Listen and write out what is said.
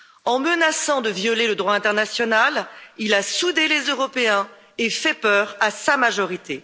En menaçant de violer le droit international, il a soudé les Européens et fait peur à sa majorité.